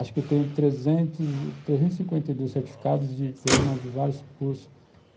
Acho que eu tenho 352 certificados de diploma de vários cursos.